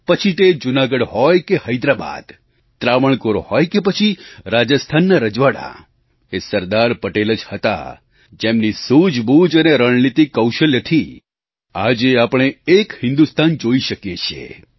પછી તે જૂનાગઢ હોય કે હૈદરાબાદ ત્રાવણકોર હોય કે પછી રાજસ્થાનનાં રજવાડાં એ સરદાર પટેલ જ હતા જેમની સૂઝબૂઝ અને રણનીતિક કૌશલ્યથી આજે આપણે એક હિન્દુસ્તાન જોઈ શકીએ છીએ